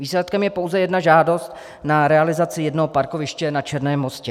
Výsledkem je pouze jedna žádost na realizaci jednoho parkoviště na Černém Mostě.